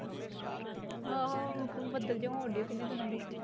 ਆਹੋ ਬੱਦਲ ਜਿਹਾ ਹੁਣ ਡਯਾ ਕਿੰਨੇ ਦਿਨਾਂ ਦੇ।